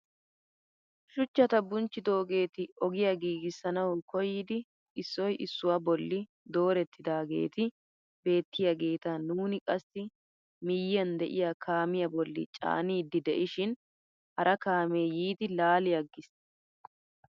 Shuchchata bunchchidoogeti ogiyaa giisissanawu koyidi issoy issuwaa bolli doorettidaageti beettiyaageta nuuni qassi miyiyaan de; iyaa kaamiyaa bolli caaniidi de'ishin hara kaamee yiidi laali aggiis!